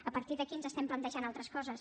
a partir d’aquí ens estem plantejant altres coses